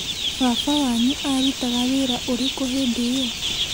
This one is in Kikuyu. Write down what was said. Baba wanyu arutaga wĩra ũrĩkũ hĩndĩ ĩyo?